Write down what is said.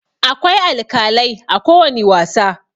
Akwai alkalai a kowani wasa.